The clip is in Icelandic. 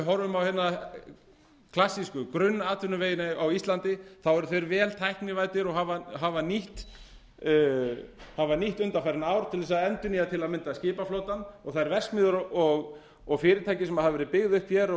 horfum á klassísku grunnatvinnuvegina á íslandi þá eru þeir vel tæknivæddir og hafa nýtt undanfarin ár til að endurnýja til að mynda skipaflotann og þær verksmiðjur og fyrirtæki sem hafa verið byggð upp og